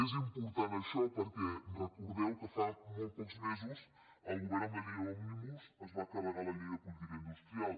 és important això perquè recordeu que fa molt pocs mesos el govern amb la llei òmnibus es va carregar la llei de política industrial